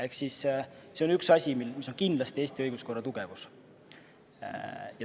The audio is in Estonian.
Ehk siis see on üks asi, mis on kindlasti Eesti õiguskorra tugevus.